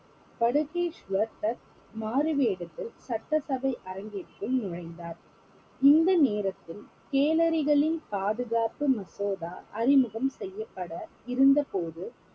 பதுகேஷ்வர் தத் மாறுவேடத்தில் சட்டசபை அரங்கிற்குள் நுழைந்தார் இந்த நேரத்தில் பாதுகாப்பு மசோதா அறிமுகம் செய்யப்பட இருந்தபோது